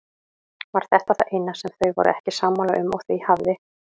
Var þetta það eina sem þau voru ekki sammála um og því hafði